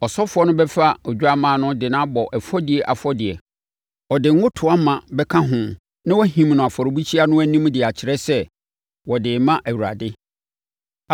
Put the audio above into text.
Ɔsɔfoɔ no bɛfa odwammaa no de abɔ ɛfɔdie afɔdeɛ. Ɔde ngo toa ma bɛka ho na wahim no afɔrebukyia no anim de akyerɛ sɛ, wɔde rema Awurade.